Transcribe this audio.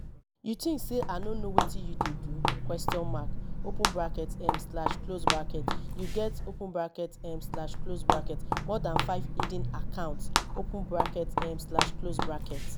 you think say i no know wetin you dey do question mark open bracket um slash close bracket you get open bracket um slash close bracket more dan five hidden accounts open bracket um slash close bracket